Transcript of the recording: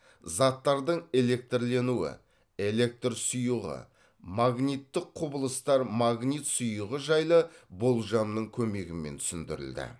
заттардың электрленуі электр сұйығы магниттік құбылыстар магнит сұйығы жайлы болжамның көмегімен түсіндірілді